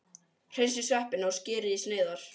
Hreinsið sveppina og skerið í sneiðar.